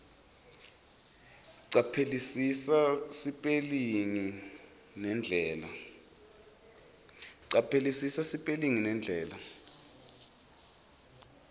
caphelisisa sipelingi nendlela